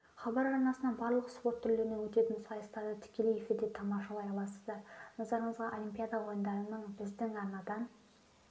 хабар арнасынан барлық спорт түрлерінен өтетін сайыстарды тікелей эфирде тамашалай аласыздар назарларыңызға олимпиада ойындарының біздің арнадан